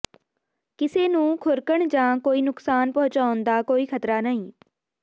ਕਿਸੇ ਨੂੰ ਖੁਰਕਣ ਜਾਂ ਕੋਈ ਨੁਕਸਾਨ ਪਹੁੰਚਾਉਣ ਦਾ ਕੋਈ ਖਤਰਾ ਨਹੀਂ